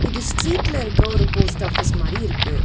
இது ஸ்ட்ரீட்ல இருக்க ஒரு போஸ்ட் ஆபீஸ் மாரி இருக்கு.